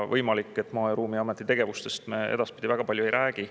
Võimalik, et Maa- ja Ruumiameti tegevustest me edaspidi väga palju ei räägi.